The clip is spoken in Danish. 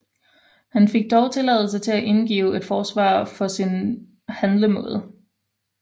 Han fik dog tilladelse til at indgive et forsvar for sin handlemåde